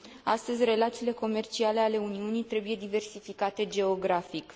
Astăzi, relațiile comerciale ale Uniunii trebuie diversificate geografic.